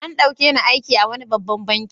An ɗauke ni aiki a wani babban banki.